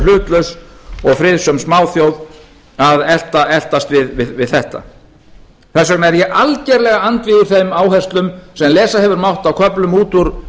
hlutlaust og friðsöm smáþjóð að eltast við þetta þess vegna er ég algjörlega andvígur þeim áherslum sem lesa hefur mátt á köflum út úr